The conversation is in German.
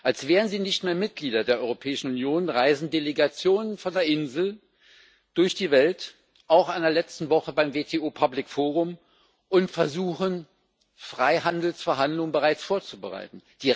Als wären sie nicht mehr Mitglieder der Europäischen Union, reisen Delegationen von der Insel durch die Welt auch in der letzten Woche beim WTO Public Forum und versuchen, Freihandelsverhandlungen bereits vorzubereiten.